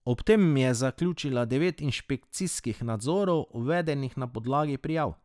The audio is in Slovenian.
Ob tem je zaključila devet inšpekcijskih nadzorov, uvedenih na podlagi prijav.